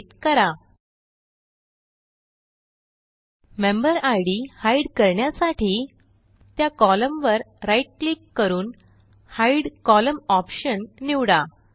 एलटीपॉजेग्ट member ID hide करण्यासाठी त्या column वरright क्लिक करून हिदे कोलम्न ऑप्शन निवडा